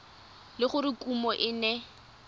le gore kumo e ne